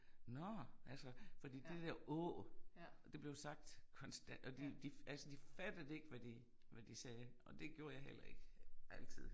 Nåh! Altså fordi det der Å det blev sagt kontant og de de altså de fattede ikke hvad de hvad de sagde og det gjorde jeg heller ikke altid